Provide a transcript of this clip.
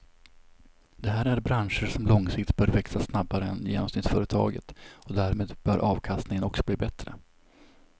Det här är branscher som långsiktigt bör växa snabbare än genomsnittsföretaget och därmed bör avkastningen också bli bättre.